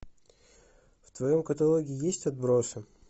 в твоем каталоге есть отбросы